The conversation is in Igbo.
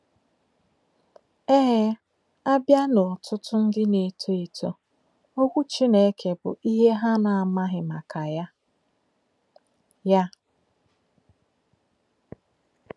Ee, a bịa n'ọtụtụ ndị na-eto eto, Okwu Chineke bụ ihe ha na-amaghị maka ya. ya.